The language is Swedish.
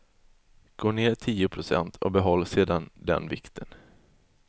Gå ner tio procent och behåll sedan den vikten.